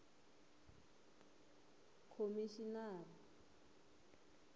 khomixinari